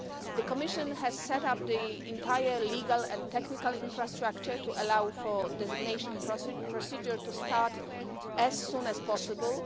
The Commission has set up the entire legal and technical infrastructure to allow for the designation procedure to start as soon as possible.